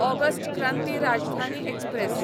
August Kranti Rajdhani express